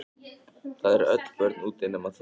Það eru öll börn úti nema þið.